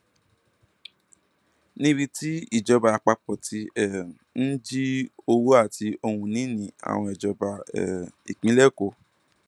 níbi tí ìjọba àpapọ ti um ń jí owó àti ohunìní àwọn ìjọba um ìpínlẹ kó